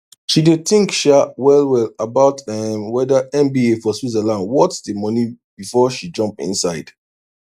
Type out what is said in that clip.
she dey think um wellwell about um wether mba for switzerland worth the money before she jump inside